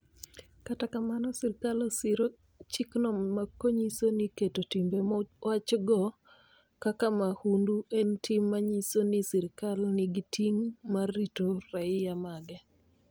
Kata kamano, sirkal osir chikno konyiso ni keto timbe mowachgo kaka mahundu en tim manyiso ni sirkal nigi ting ' mar rito raia mage.